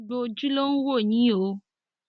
gbogbo ojú ló ń wò yín o